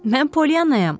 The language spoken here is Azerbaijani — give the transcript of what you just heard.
Mən Poliannayam.